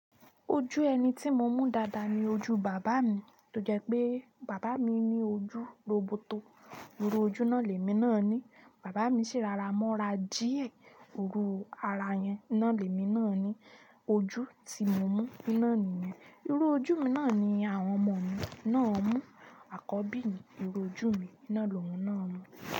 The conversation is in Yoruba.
Ojú ẹni tí mo mún dáadáa ni ojú bàbá mi tó jẹ́ pé bàbá mi ní ojú roboto. Irú ojú ná lè mi náà ni. Bàbá mi sì rara mọ́ra díẹ̀. Iru ara yẹn, iná lè mi náà ni. Ojú tí mo mún iná nìyẹn. Irú ojú mi náà ni àwọn ọmọ mi náà mún. Àkọ́bí mi, irú ojú mi iná lòun náà mún.